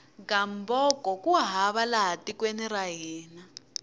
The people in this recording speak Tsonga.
gamboko ku hava laha tekweni ra hina